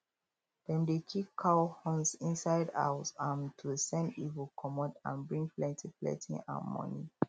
dem dey keep cow horns inside house um to send evil comot and bring plenty plenty um money